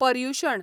Paryushan